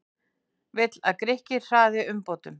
Vill að Grikkir hraði umbótum